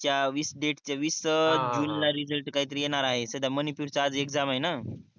च्या वीस डेट चे वीस जून काही तरी येणार आहे तस मणीपुर चा आज एक्साम आहे न